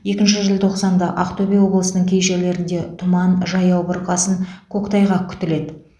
екінші желтоқсанда ақтөбе облысының кей жерлерінде тұман жаяу бұрқасын көктайғақ күтіледі